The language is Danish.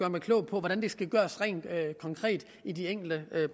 mig klog på hvordan det skal gøres rent konkret i de enkelte